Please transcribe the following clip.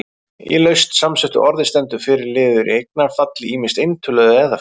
Í laust samsettu orði stendur fyrri liður í eignarfalli, ýmist eintölu eða fleirtölu.